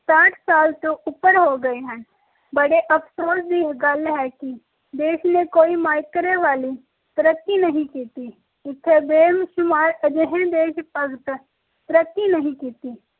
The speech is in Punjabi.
ਸਾਠ ਸਾਲ ਤੋਂ ਉੱਪਰ ਹੋ ਗਏ ਹਨ ਬੜੇ ਅਫਸੋਸ ਦੀ ਗੱਲ ਹੈ ਕਿ ਦੇਸ਼ ਨੇ ਕੋਈ ਮੈਕਰੇ ਵਾਲੀ ਤਰੱਕੀ ਨਹੀਂ ਕੀਤੀ ਜਿਥੇ ਬੇਸ਼ੁਮਾਰ ਅਜਿਹੇ ਦੇਸ਼ ਭਗਤ ਤਰੱਕੀ ਨਹੀਂ ਕੀਤੀ